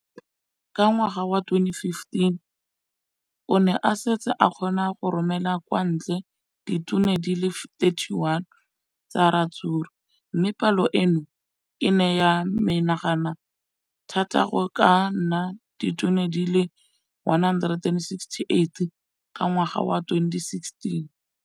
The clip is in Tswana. Ka ngwaga wa 2015, o ne a setse a kgona go romela kwa ntle ditone di le 31 tsa ratsuru mme palo eno e ne ya menagana thata go ka nna ditone di le 168 ka ngwaga wa 2016.